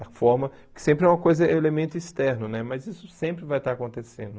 A forma, que sempre é uma coisa elemento externo, né mas isso sempre vai estar acontecendo.